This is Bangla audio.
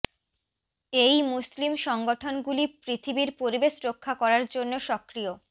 এই মুসলিম সংগঠনগুলি পৃথিবীর পরিবেশ রক্ষা করার জন্য সক্রিয়